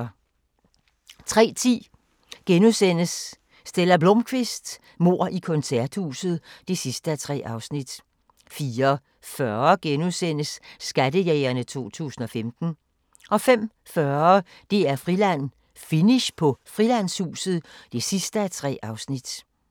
03:10: Stella Blómkvist: Mord i koncerthuset (3:3)* 04:40: Skattejægerne 2015 * 05:40: DR-Friland: Finish på Frilandshuset (3:3)